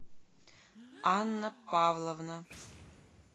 анна павловна